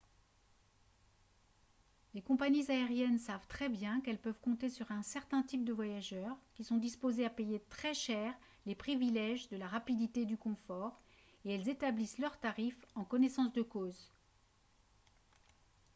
les compagnies aériennes savent très bien qu'elles peuvent compter sur un certain type de voyageurs qui sont disposés à payer très cher les privilèges de la rapidité et du confort et elles établissent leurs tarifs en connaissance de cause